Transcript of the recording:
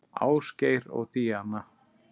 Ásgeir og Díana.